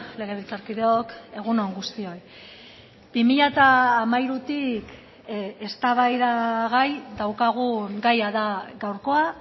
legebiltzarkideok egun on guztioi bi mila hamairutik eztabaidagai daukagun gaia da gaurkoa